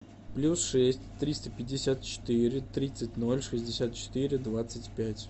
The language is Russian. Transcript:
плюс шесть триста пятьдесят четыре тридцать ноль шестьдесят четыре двадцать пять